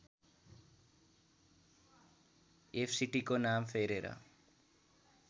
एफसीटीको नाम फेरेर